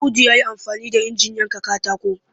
Audu ya yi amfani da injin yankan katako